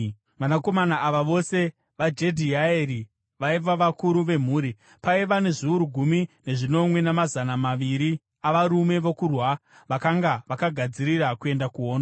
Vanakomana ava vose vaJedhiaeri vaiva vakuru vemhuri. Paiva nezviuru gumi nezvinomwe namazana maviri avarume vokurwa vakanga vakagadzirira kuenda kuhondo.